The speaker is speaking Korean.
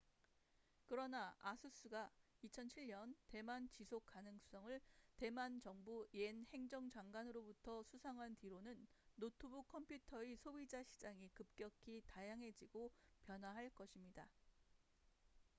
그러나 아수스asus가 2007년 대만 지속가능상을 대만 정부 옌 행정 장관으로부터 수상한 뒤로는 노트북 컴퓨터의 소비자 시장이 급격히 다양해지고 변화할 것입니다